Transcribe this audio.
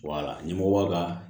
ɲɛmɔgɔ b'a ka